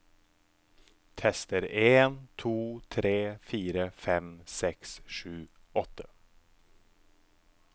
Tester en to tre fire fem seks sju åtte